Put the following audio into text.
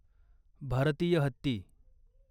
भारतीय हत्ती